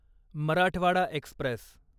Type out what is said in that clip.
Marathwada Express